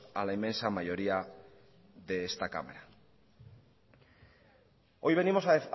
a la inmensa mayoría de esta cámara hoy venimos a